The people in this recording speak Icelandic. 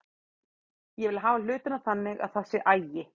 Ég vil hafa hlutina þannig að það sé agi.